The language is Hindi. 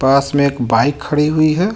पासमे एक बाईक खड़ी हुई है.